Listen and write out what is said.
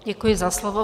Děkuji za slovo.